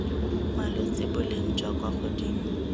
malwetse boleng jwa kwa godimo